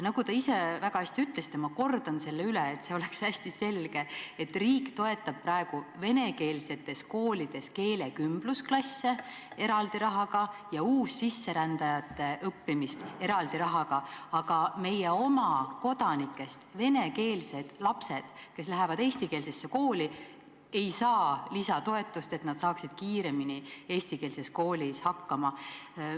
Nagu te ise väga õigesti ütlesite – ma kordan üle, et see oleks hästi selge –, riik toetab praegu vene koolides keelekümblusklasse eraldi rahaga ja uussisserändajate õppimist eraldi rahaga, aga meie oma kodanikest venekeelsed lapsed, kes lähevad eestikeelsesse kooli, ei saa õppimiseks lisatoetust, et nad hakkaksid kiiremini eestikeelses koolis toime tulema.